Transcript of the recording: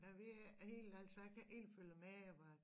Da vi helt ærlig så jeg kan ikke følge med jeg bare